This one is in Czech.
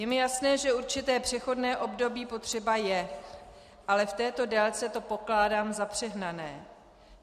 Je mi jasné, že určité přechodné období potřeba je, ale v této délce to pokládám za přehnané.